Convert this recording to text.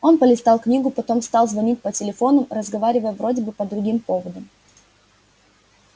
он полистал книгу потом стал звонить по телефонам разговаривая вроде бы по другим поводам